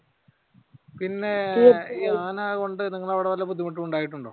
പിന്നെ ഈ ആനകൾ കൊണ്ട് നിങ്ങളുടെ അവിടെ വല്ല ബുദ്ധിമുട്ടും ഉണ്ടായിട്ടുണ്ടോ?